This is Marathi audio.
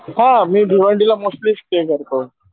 हा मी भिवंडीला मोस्टली स्टेय करतो.